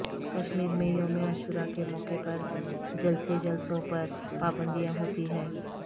کشمیر میں یوم عاشورہ کے موقع پر جلسے جلوسوں پر پابندیاں ہوتی ہیں